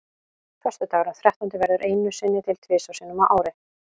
Föstudagurinn þrettándi verður einu sinni til þrisvar sinnum á ári.